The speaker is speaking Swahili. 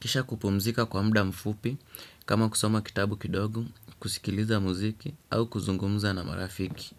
Kisha kupumzika kwa muda mfupi, kama kusoma kitabu kidogu, kusikiliza muziki, au kuzungumza na marafiki.